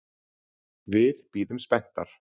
Við bíðum spenntar.